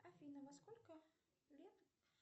афина во сколько лет